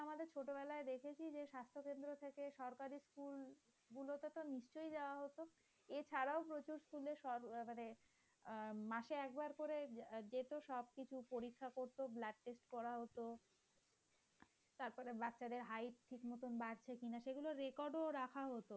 স্কুলের আহ মানে মাসে একবার করে যেত সব কিছু পরীক্ষা করতো blood test করা হত। তারপর বাচ্চাদের height ঠিকমতো বাড়ছে কিনা সেগুলো record ও রাখা হতো।